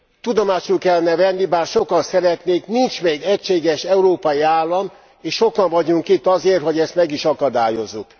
Tudomásul kellene venni, bár sokan szeretnék, nincs még egységes európai állam, és sokan vagyunk itt azért, hogy ezt meg is akadályozzuk!